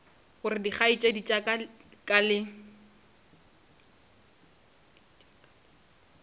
gore dikgaetšedi tša ka le